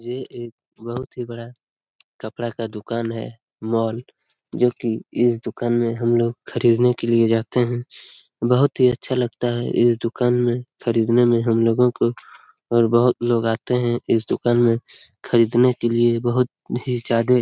ये एक बहुत ही बड़ा कपड़ा का दुकान है मॉल जो की इस दुकान में हम लोग खरीदने के लिए जाते हैं बहुत ही अच्छा लगता है इस दुकान में खरीदने में हम लोगों को और बहुत लोग आते हैं इस दुकान में खरीदने के लिए बहुत ही ज्यादे --